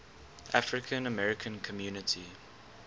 african american community